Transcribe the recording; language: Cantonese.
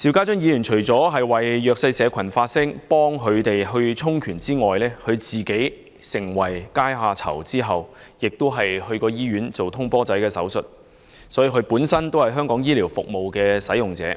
邵議員為弱勢社群發聲，協助他們充權；在他成為階下囚後，曾入院進行"通波仔"手術，因此他本身也是香港醫療服務的使用者。